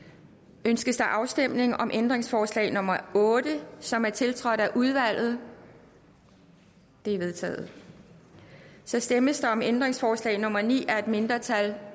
ønskes der afstemning om ændringsforslag nummer otte som er tiltrådt af udvalget det er vedtaget så stemmes der om ændringsforslag nummer ni af et mindretal